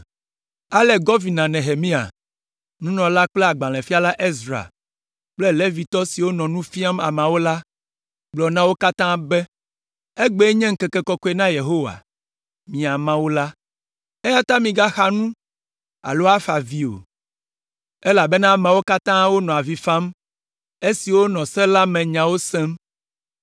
Ale Gɔvina Nehemia, nunɔla kple agbalẽfiala Ezra kple Levitɔ siwo nɔ nu fiam ameawo la, gblɔ na wo katã be, “Egbee nye ŋkeke kɔkɔe na Yehowa, miaƒe Mawu la, eya ta migaxa nu alo afa avi o,” elabena ameawo katã wonɔ avi fam esi wonɔ Se la me nyawo sem.